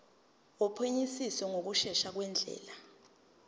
wophenyisiso ngokushesha ngendlela